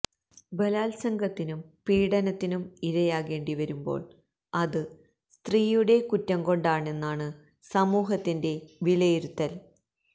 ബലാത്സംഗത്തിനും പീഡനത്തിനും ഇരയാകേണ്ടി വരുമ്പോള് അത് സ്ത്രീയുടെ കുറ്റം കൊണ്ടാണെന്നാണ് സമൂഹത്തിന്റെ വിലയിരുത്തല്